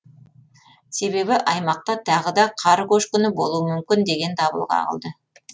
себебі аймақта тағы да қар көшкіні болуы мүмкін деген дабыл қағылды